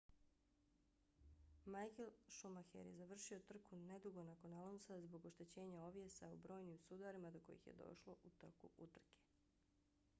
michael schumacher je završio trku nedugo nakon alonsa zbog oštećenja ovjesa u brojnim sudarima do kojih je došlo u toku utrke